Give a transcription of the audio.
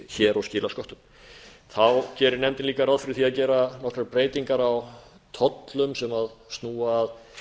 hér og skila sköttum þá gerir nefndin líka ráð fyrir því að gera nokkrar breytingar á tollum sem snúa að